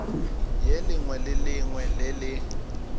lengwe le lengwe le le